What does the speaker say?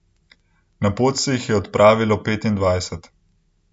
Na pot se jih je odpravilo petindvajset.